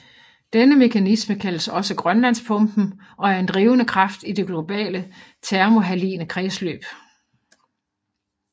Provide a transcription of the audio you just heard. Denne mekanisme kaldes også Grønlandspumpen og er en drivende kraft i det globale thermohaline kredsløb